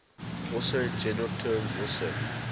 also in general terms also